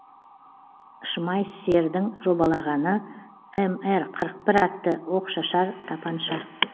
шмайссердің жобалағаны мр қырық бір атты оқшашар тапанша